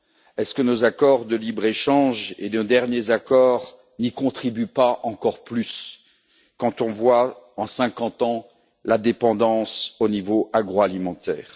Est ce que nos accords de libre échange et nos derniers accords n'y contribuent pas encore plus, quand on voit en cinquante ans, la dépendance au niveau agroalimentaire?